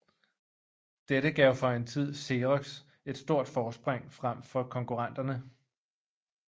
Dette gav for en tid Xerox et stort forspring frem for konkurrenterne